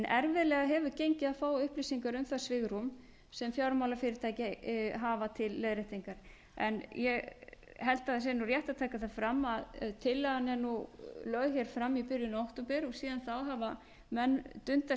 erfiðlega hefur gengið að fá upplýsingar um það svigrúm sem fjármálafyrirtæki hafa til leiðréttinga ég held að það sé rétt að taka það fram að tillagan er nú lögð hér fram í byrjun október og síðan þá hafa menn dundað sér